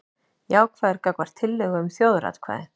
Jákvæður gagnvart tillögu um þjóðaratkvæði